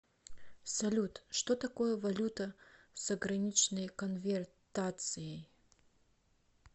салют что такое валюта с ограниченной конвертацией